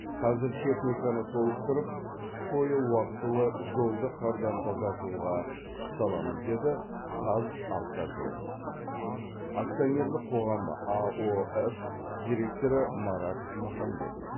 қазір техниканы толықтырып қыс бойы уақтылы жолды қардан тазартуға күш саламыз деді қазавтожол акционерлік қоғамы аоф директоры марат махамбетов